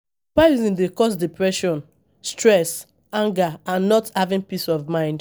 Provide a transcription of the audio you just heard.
Comparison dey cause depression stress, anger and not having peace of mind.